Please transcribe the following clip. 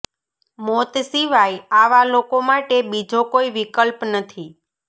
મોત સિવાય આવા લોકો માટે બીજો કોઈ વિકલ્પ નથી